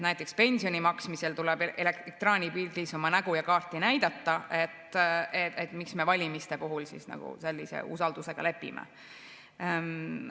Näiteks tuleb pensioni maksmisel ekraanipildis oma nägu ja kaarti näidata, miks me valimiste puhul sellise usaldamisega lepime.